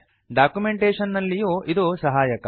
documentation ನಲ್ಲಿಯೂ ಇದು ಸಹಾಯಕ